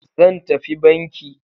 Zan tafi banki.